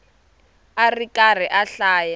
a ri karhi a hlaya